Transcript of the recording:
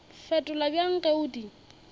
fetola bjang ge o di